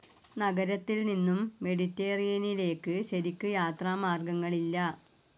നഗരത്തിൽനിന്നും മെഡിറ്ററേനിയനിലേക്ക് ശരിക്കു യാത്രാമാർഗങ്ങളില്ല.